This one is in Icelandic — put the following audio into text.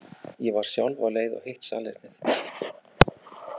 Ég var sjálf á leið á hitt salernið.